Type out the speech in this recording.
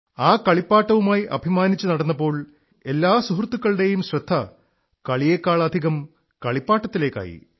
ആ കളിപ്പാട്ടവുമായി അഭിമാനിച്ചു നടന്നപ്പോൾ എല്ലാ സുഹൃത്തുക്കളുടെയും ശ്രദ്ധ കളിയേക്കാളധികം കളിപ്പാട്ടത്തിലേക്കായി